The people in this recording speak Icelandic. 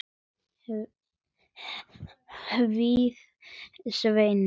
hváði Svenni.